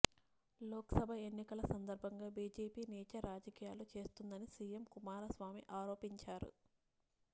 లోక్ సభ ఎన్నికల సందర్బంగా బీజేపీ నీచ రాజకీయాలు చేస్తుందని సీఎం కుమారస్వామి ఆరోపించారు